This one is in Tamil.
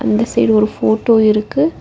அந்த சைடு ஒரு ஃபோட்டோ இருக்கு.